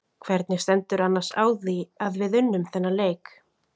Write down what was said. Hvernig stendur annars á að við unnum þennan leik?